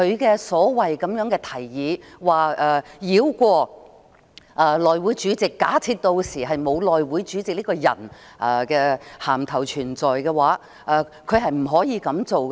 他所謂的"提議"，是要繞過內會主席，並假設屆時沒有內會主席這個銜頭存在，他是不可以這樣做的。